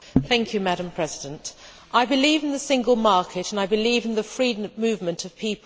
Madam President, I believe in the single market and I believe in the free movement of people.